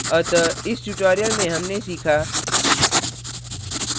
अतः इस tutorial में हमने सीखा